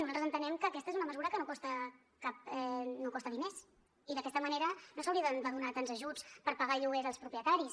nosaltres entenem que aquesta és una mesura que no costa diners i d’aquesta manera no s’haurien de donar tants ajuts per pagar el lloguer als propietaris